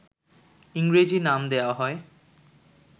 ইংরেজি নাম দেওয়া হয়